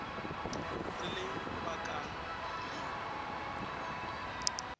re le bakang le yo